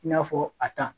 I n'a fɔ a ta